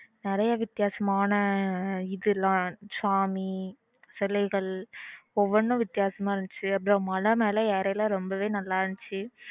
நிறைய வித்தியாசமான இதெல்லம் சாமி சிலைகள் ஒவ்வொண்ணும் விதியசமா இருந்துச்சு அப்புறம் மலை மேல ஏறுற அப்போ ரொம்பவே நல்ல இருந்துச்சு